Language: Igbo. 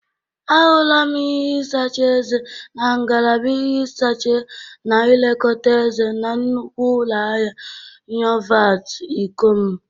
A hụlam ihe ịsacha eze na ngalaba ihe ịsacha na ilekọta eze na nnukwu ụlọ ahịa Nyovat, Ikọm.